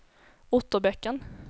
Otterbäcken